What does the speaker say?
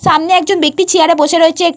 সামনে একজন ব্যাক্তি চেয়ার -এ বসে রয়েছে।